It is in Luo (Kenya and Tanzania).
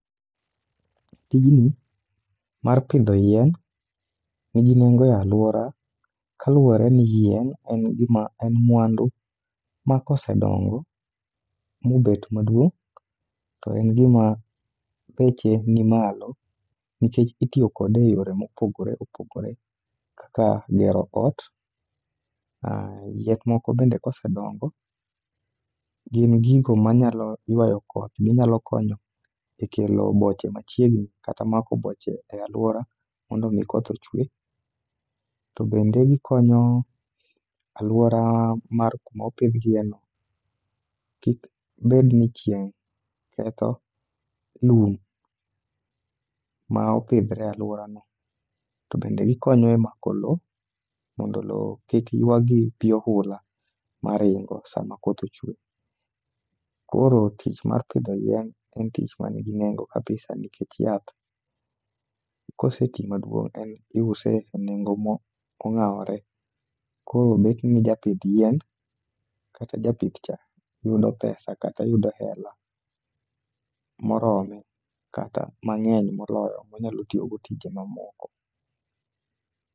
Tijni mar pidho yien nigi nengo e alwora kaluwore ni yien en mwandu ma kosedongo, mobet maduong' to en gima beche nimalo, nikech itiyo kode e yore mopogore opogore kaka gero ot, yien moko bende kosedongo, gin gigo manyalo ywayo koth, ginyalo konyo e kelo boche machiegni kata mako boche e alwora mondo omi koth ochwe. To bende gikonyo alwora mar kuma opidh gieno, kik bed ni chieng' ketho lum ma opidhore e alworano. To bende gikonyo e mako lowo mondo lowo kik ywagi pi ohula maringo sama koth ochwe. Koro tich mar pidho yien en tich manigi nengo kabisa nikech yath, koseti maduong',iuse e nego mong'awore, koro betni japidh yien kata japith cha, yudo pesa kata yudo hela morome kata mang'eny monyalo tiyogo tije mamoko.